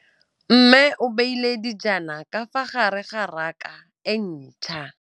Mmê o beile dijana ka fa gare ga raka e ntšha.